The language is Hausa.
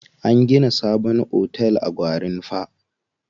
An gina sabon otel a Gwarinpa.